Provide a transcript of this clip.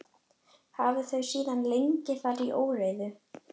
Hafa þau síðan legið þar í óreiðu.